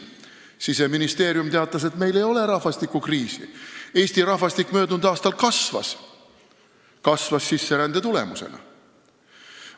Siseministeerium teatas, et meil ei ole rahvastikukriisi: Eesti rahvastik möödunud aastal kasvas, ehkki sisserände tulemusena.